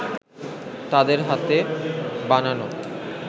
তাদের হাতে বানানো